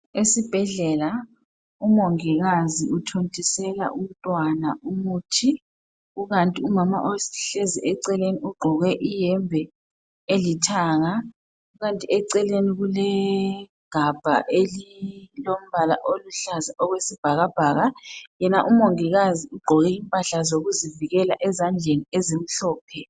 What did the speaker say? Esibhedlela umongikazi uthontisela umntwana umuthi kukanti umama ohlezi eceleni ugqoke iyembe elithanga kukanti eceleni kulegabha elilombala oluhlaza okwesibhakabhaka. Yena umongikazi ugqoke impahla zokuzivikela ezandleni ezimhlophe.